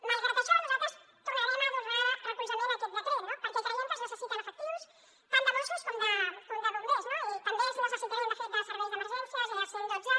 malgrat això nosaltres tornarem a donar recolzament a aquest decret no perquè creiem que es necessiten efectius tant de mossos com de bombers no i també se’n necessitarien de fet als serveis d’emergències i del cent i dotze